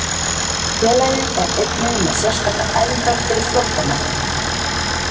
Félagið er einnig með sérstakar æfingar fyrir flóttamenn.